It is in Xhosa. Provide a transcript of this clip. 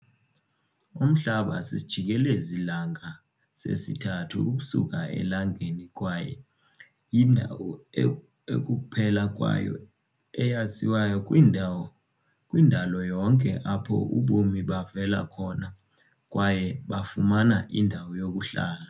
Umhlaba sisijikelezi-langa sesithathu ukusuka eLangeni kwaye yindawo ekukuphela kwayo eyaziwayo kwindalo yonke apho ubomi bavela khona kwaye bafumana indawo yokuhlala.